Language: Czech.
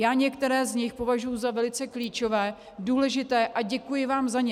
Já některé z nich považuji za velice klíčové, důležité a děkuji vám za ně.